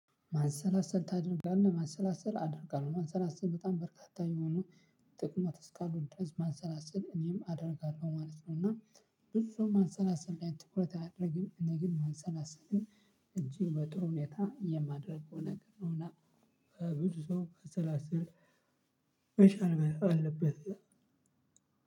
ማሰላሰል ታደርጋለህ ማሰላሰል አደርጋለሁ ማሰላሰል በጣም በርካታ የሆነ ጥቅሞች እስካሉት ድረስ ማሰላሰል እኔም አደርጋለሁ ማለት ነው። እና ብዙ ሰው ማሰላሰል ላይ ትኩረት አያደርግም። እኔ ግን ማሰላሰል እንጂ በጥሩ ሁኔታ የማድረገው ነገር ነውና። በብዙ ሰው ማሰላሰል መቻል አለበት።